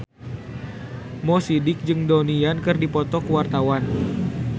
Mo Sidik jeung Donnie Yan keur dipoto ku wartawan